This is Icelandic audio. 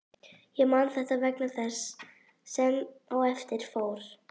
Ég man þetta vegna þess sem á eftir fór.